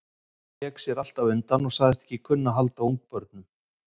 Jón vék sér alltaf undan og sagðist ekki kunna að halda á ungabörnum.